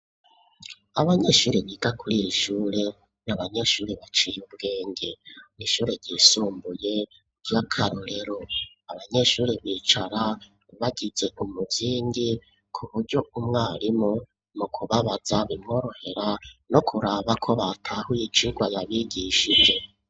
abanyeshuri biga kuriri shure n'abanyeshure baciye ubwenge n, ishure ryisumbuye ry'akarorero, abanyeshuri bicara bagize umuzingi ku buryo umwarimu mu kubabaza bimworohera no kuraba ko batahuye icigwa yabigishije.